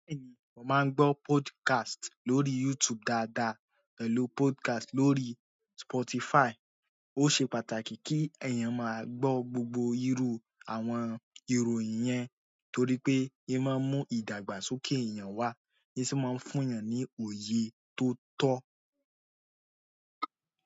Bẹ́ẹ̀ni, mo máa ń gbọ́ podcast lórí YouTube dáadáa, pẹ̀lú podcast lórí Spotify. Ó ṣe pàtàkì kí ẹ̀yàn máa gbọ́ gbogbo irú àwọn ìròyìn yẹn torí pé, ì máa ń mú ìdàgbàsókè èèyàn wá, sì máa ń fún èèyàn ní òye tó tọ́.